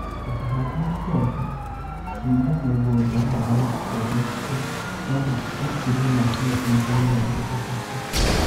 Ũtanahanda ikongo, shimba mũgũnda wega na ũriku wa makĩlia ma sentimita mĩrongo ĩtatũ